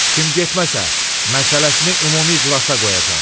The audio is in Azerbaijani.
Kim getməsə, məsələsini ümumi iclasa qoyacam."